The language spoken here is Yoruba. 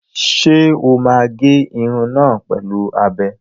Ṣé o máa gé irun náà pẹ̀lú abẹ?